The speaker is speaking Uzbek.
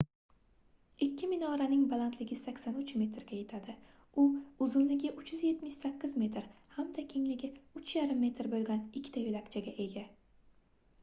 ikki minoraning balandligi 83 metrga yetadi u uzunligi 378 metr hamda kengligi 3,5 m boʻlgan ikkita yoʻlakchaga ega